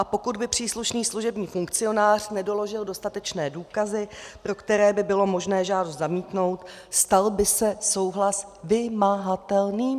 A pokud by příslušný služební funkcionář nedoložil dostatečné důkazy, pro které by bylo možné žádost zamítnout, stal by se souhlas vymahatelným.